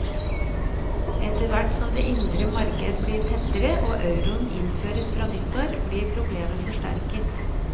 Etterhvert som det indre marked blir tettere, og euroen innføres fra nyttår, blir problemet forsterket.